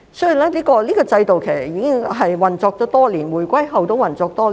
這個制度已運作多年，在回歸後亦然。